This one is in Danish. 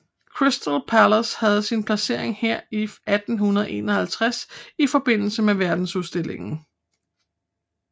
Crystal Palace havde sin placering her i 1851 i forbindelse med verdensudstillingen